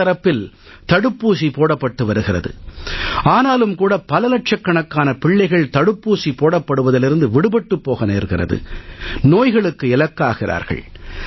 அரசு தரப்பில் தடுப்பூசி போடப்பட்டு வருகிறது ஆனாலும் கூட பல லட்சக்கணக்கான பிள்ளைகள் தடுப்பூசி போடப்படுவதிலிருந்து விடுபட்டுப் போக நேர்கிறது நோய்களுக்கு இலக்காகிறார்கள்